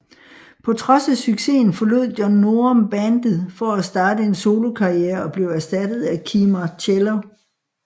På trods af succesen forlod John Norum bandet for at starte en solokarrierer og blev erstattet af Kee Marcello